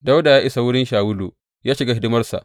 Dawuda ya isa wurin Shawulu ya shiga hidimarsa.